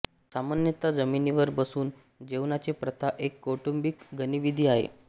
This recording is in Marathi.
सामान्यतः जमिनीवर बसून जेवण्याची प्रथा एक कौटुंबिक गतिविधि आहे